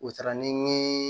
U taara ni